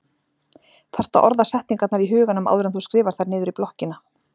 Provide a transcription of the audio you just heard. Þarft að orða setningarnar í huganum áður en þú skrifar þær niður í blokkina.